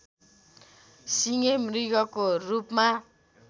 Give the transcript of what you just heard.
सिङे मृगको रूपमा